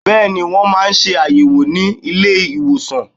Bẹ́ẹ̀ni, Wọ́n ma ṣe àyẹ̀wò ni ilé ìwòsàn